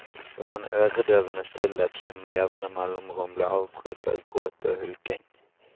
Det var en øredøvende stillhet som med jevne mellomrom ble avbrutt av gråt og hulking.